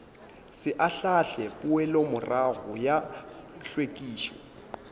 se ahlaahle poelomorago ya hlwekišo